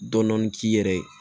Dɔnni k'i yɛrɛ ye